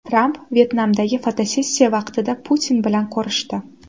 Tramp Vyetnamdagi fotosessiya vaqtida Putin bilan ko‘rishdi.